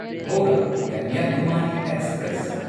Howrah Kanyakumari express